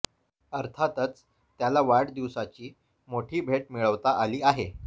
अर्थातच त्याला वाढदिवसाची मोठी भेट मिळवता आली आहे